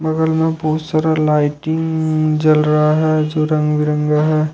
बगल में बहुत सारा लाइटिंग जल रहा है जो रंग बिरंगा है।